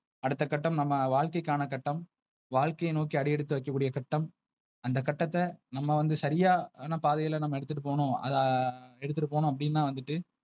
அடுத்த கட்டம் நம்ம வாழ்க்கைக்கான கட்டணம். வாழ்க்கையை நோக்கி அடியெடுத்து வைக்க கூடிய கட்டம். அந்த கட்டத்த நம்ம வந்து சரியான பாதைல நம்ம எடுத்துட்டு போனோம் அது ஆஹ் எடுத்துட்டு போனோம் அப்டின்னா வந்துட்டு.